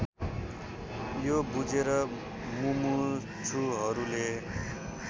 यो बुझेर मुमुक्षुहरूले